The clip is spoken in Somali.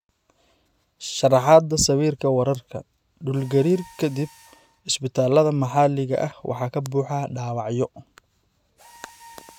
Sharaxaadda Sawirka Wararka, Dhul-gariir ka dib, isbitaallada maxalliga ah waxaa ka buuxa dhaawacyo.